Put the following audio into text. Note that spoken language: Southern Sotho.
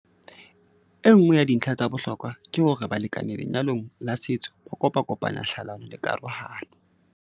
Enngwe ya dintlha tsa bohlokwa ke hore balekane lenyalong la setso ba kopakopanya hlalano le karohano.